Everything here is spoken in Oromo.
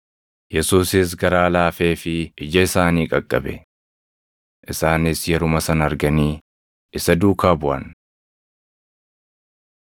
Yesuusis garaa laafeefii ija isaanii qaqqabe. Isaanis yeruma sana arganii isa duukaa buʼan.